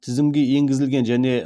тізілімге енгізілген және